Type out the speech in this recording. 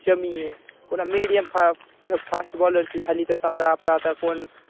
शमी ये पुन्हा मिडीयम फा फे फास्ट बॉलर ची झाली तर समजा आपला आता कोण